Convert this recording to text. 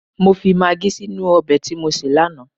Mọ fi magí sínú ọbẹ̀ tí mọ sé lánàá